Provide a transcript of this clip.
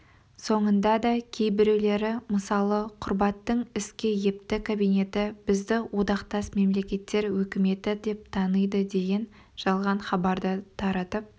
сонда да кейбіреулері мысалы құрбаттың іске епті кабинеті бізді одақтас мемлекеттер өкіметі деп таниды деген жалған хабарларды таратып